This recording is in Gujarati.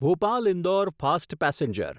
Bhopal Indore fast passenger